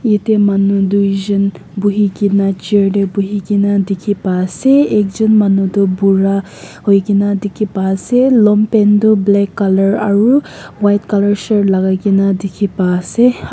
ete manu tuijon buhi kene chair te buhi kene dikhi pa ase ekjon manu tu bura hoi kene dikhi pa ase longpant toh black colour aru white colour shirt lagai kene dikhi pa ase.